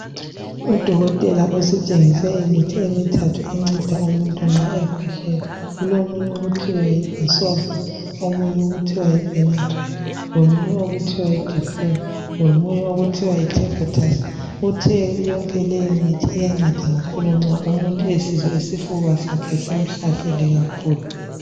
Udokotela usitshengise imithi emithathu enceda umuntu nxa ekhwehlela kulomunye okuthiwa Yi bisolvon omunye okuthiwa yibenadryl komunye okuthiwa yidifflam komunye okuthiwa Yi tuss uthe yonke le mithi iyanceda kakhulu nxa umuntu esizwa isifuba sakhe simhlasele kakhulu